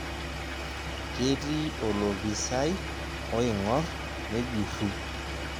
Ketii olopisaai oing'orr nejurru.